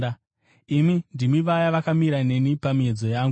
Imi ndimi vaya vakamira neni pamiedzo yangu.